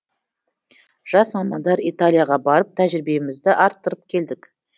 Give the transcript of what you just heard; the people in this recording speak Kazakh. жас мамандар италияға барып тәжірибемізді арттырып келдік